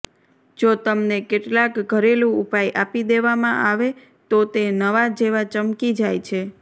જો તમને કેટલાક ઘરેલૂ ઉપાય આપી દેવામાં આવે તો તે નવા જેવા ચમકી જાય છે